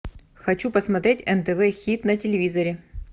хочу посмотреть нтв хит на телевизоре